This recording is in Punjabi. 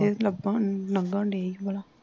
ਲਭਣ ਲੰਘਣ ਡਏ ਸੀ ਭਲਾ